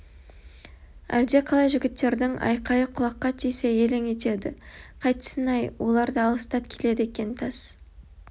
әлде қалай жігіттердің айқайы құлаққа тисе елең етеді қайтсін-ай олар да алысып келеді екен тас